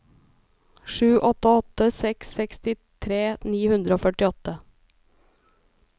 sju åtte åtte seks sekstitre ni hundre og førtiåtte